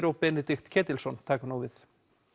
og Benedikt Ketilsson taka við